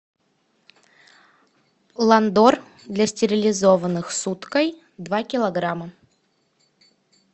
ландор для стерилизованных с уткой два килограмма